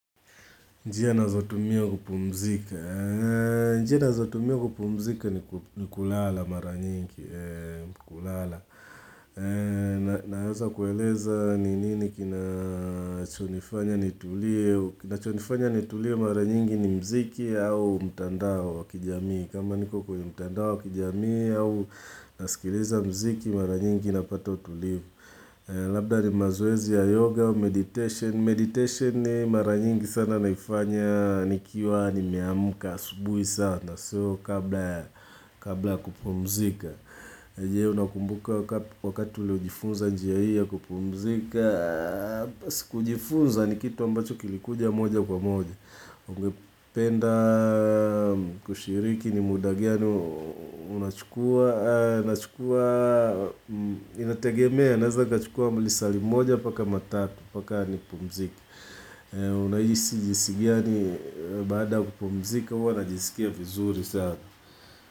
Njia ninazotumia kupumzika. Njia ninazotumia kupumzika ni kulala mara nyingi. Kulala. Naweza kueleza ni nini kinachonifanya nitulie mara nyingi ni mziki au mtandao wa kijamii. Kama niko kwenye mtandao wa kijamii au nasikiliza mziki mara nyingi napata utulivu. Labda ni mazoezi ya yoga, meditation. Meditation ni mara nyingi sana naifanya nikiwa nimeamka asubuhi sana. Sio kabla ya kupumzika. Je, unakumbuka wakati uliojifunza njia hi8 kupumzika? Bas kujifunza ni kitu ambacho kilikuja moja kwa moja. Ungependa kushiriki ni muda gani unachukua? Nachukua, inategemea, naweza nikachukua lisaa limoja mpaka matatu mpaka nipumzike. Unahisi jinsi gani baada kupomzika? Huwa najisikia vizuri saana.